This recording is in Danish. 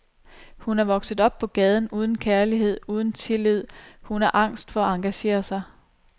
Hun er vokset op på gaden, uden kærlighed, uden tillid, hun er angst for at engagere sig.